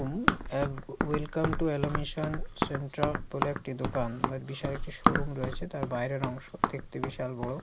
এক welcome to এলোমিশন সেন্ট্রা বলে একটি দোকান একটি শোরুম রয়েছে তার বাইরের অংশ দেখতে বিশাল বড়।